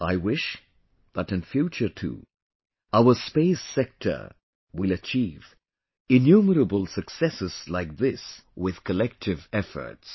I wish that in future too our space sector will achieve innumerable successes like this with collective efforts